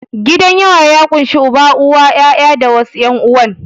Gidan yawa ya ƙunshi Uba, Uwa, ƴaƴa da wasu ƴan'uwan.